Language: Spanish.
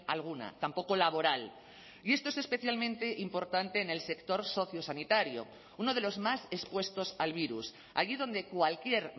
alguna tampoco laboral y esto es especialmente importante en el sector sociosanitario uno de los más expuestos al virus allí donde cualquier